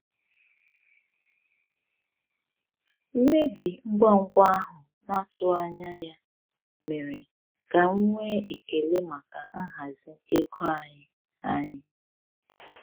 Mmebi ngwa ngwa ahụ na-atụghị anya ya mere ka m nwee ekele maka nhazi ego anyị. anyị.